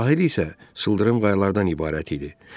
Sahil isə sıldırım qayalardan ibarət idi.